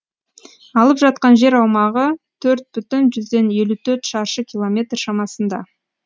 алып жатқан жер аумағы төрт бүтін жүзден елу төрт шаршы километр шамасында